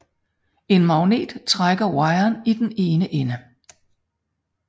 En magnet strækker wiren i den ene ende